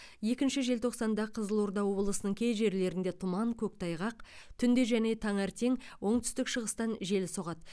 екінші желтоқсанда қызылорда облысының кей жерлерінде тұман көктайғақ түнде және таңертең оңтүстік шығыстан жел соғады